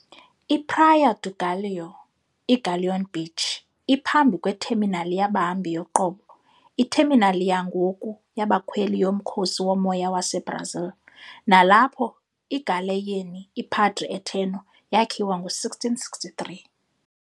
"I-Praia do Galeão", i-Galleon Beach, iphambi kwetheminali yabahambi yoqobo, itheminali yangoku yabakhweli yoMkhosi woMoya waseBrazil, nalapho igaleyini "iPadre Eterno" yakhiwa ngo-1663.